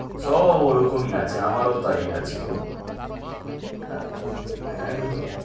সব ওরকমই আছে আমারও তাই আছে গো একদম